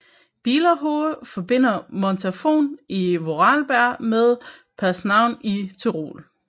Bielerhoehe forbinder Montafon i Vorarlberg med Paznaun i Tyrol